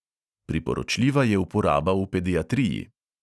Priporočljiva je uporaba v pediatriji.